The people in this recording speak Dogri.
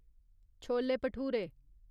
चोले भटूरे